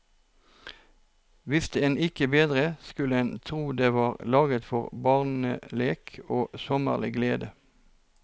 Visste en ikke bedre, skulle en tro det var laget for barnelek og sommerlig glede.